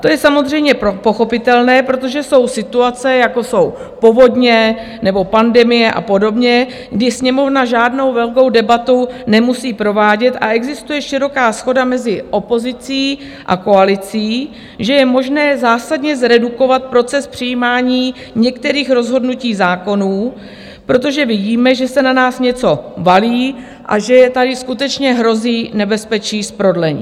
To je samozřejmě pochopitelné, protože jsou situace, jako jsou povodně nebo pandemie a podobně, kdy Sněmovna žádnou velkou debatu nemusí provádět a existuje široká shoda mezi opozicí a koalicí, že je možné zásadně zredukovat proces přijímání některých rozhodnutí zákonů, protože vidíme, že se na nás něco valí a že tady skutečně hrozí nebezpečí z prodlení.